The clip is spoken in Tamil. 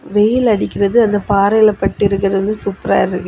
வெயில் அடிக்கிறது அந்த பாறையில் பட்டிருக்கிறது சூப்பரா இருக்கு.